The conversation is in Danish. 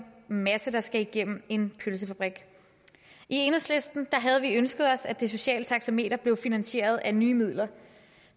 masse der skal igennem en pølsefabrik i enhedslisten havde vi ønsket os at det sociale taxameter blev finansieret af nye midler